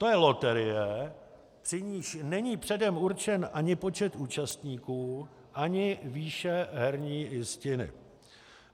To je loterie, při níž není předem určen ani počet účastníků ani výše herní jistiny.